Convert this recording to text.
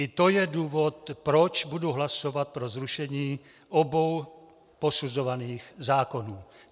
I to je důvod, proč budu hlasovat pro zrušení obou posuzovaných zákonů.